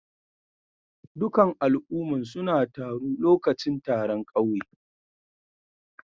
Dukan al'umman suna taru lokacin taron kauye.